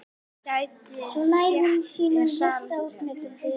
Gætirðu rétt mér saltið?